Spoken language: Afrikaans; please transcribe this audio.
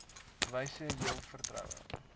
wyse jul vertroue